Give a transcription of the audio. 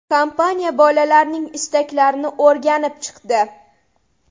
Kompaniya bolalarning istaklarini o‘rganib chiqdi.